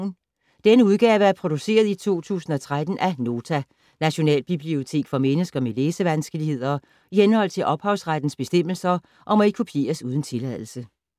Denne udgave er produceret i 2013 af Nota - Nationalbibliotek for mennesker med læsevanskeligheder, i henhold til ophavsrettes bestemmelser, og må ikke kopieres uden tilladelse.